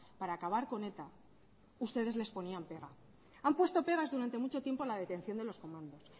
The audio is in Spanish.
para acabar con eta ustedes les ponían pegas han puesto pegas durante mucho tiempo a la detección de los comandos